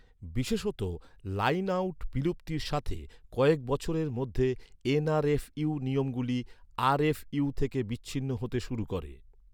বিশেষত line out বিলুপ্তির সাথে, কয়েক বছরের মধ্যে, এন.আর.এফ.ইউ নিয়মগুলি আর.এফ.ইউ থেকে বিচ্ছিন্ন হতে শুরু করে।